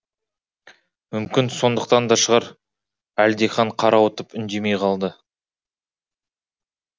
мүмкін сондықтан да шығар әлдихан қарауытып үндемей қалды